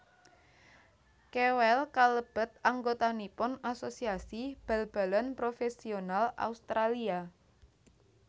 Kewell kalebet anggotanipun Asosiasi Bal balan Profesional Australia